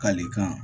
Kalikan